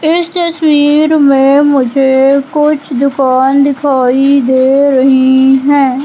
इस तस्वीर में मुझे कुछ दुकान दिखाई दे रही है।